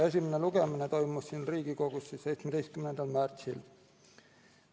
Esimene lugemine toimus Riigikogus 17. märtsil.